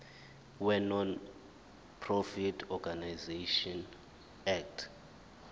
wenonprofit organisations act